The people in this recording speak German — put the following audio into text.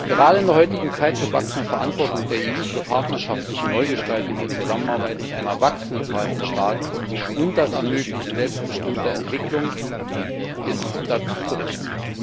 Gerade in der heutigen Zeit gewachsener Verantwortung der EU für partnerschaftliche Neugestaltung der Zusammenarbeit mit einer wachsenden Zahl von Staaten ist das Ermöglichen selbstbestimmter Entwicklung dazu zu rechnen.